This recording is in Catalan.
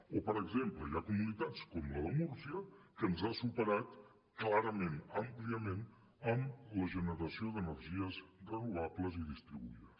o per exemple hi ha comunitats com la de múrcia que ens han superat clarament àmpliament en la generació d’energies renovables i distribuïdes